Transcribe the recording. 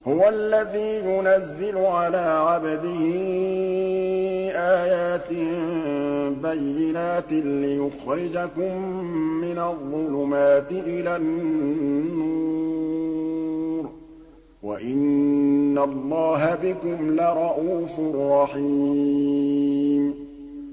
هُوَ الَّذِي يُنَزِّلُ عَلَىٰ عَبْدِهِ آيَاتٍ بَيِّنَاتٍ لِّيُخْرِجَكُم مِّنَ الظُّلُمَاتِ إِلَى النُّورِ ۚ وَإِنَّ اللَّهَ بِكُمْ لَرَءُوفٌ رَّحِيمٌ